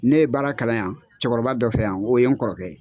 Ne ye baara kalan yan cɛkɔrɔba dɔ fɛ yan o ye n kɔrɔkɛ ye.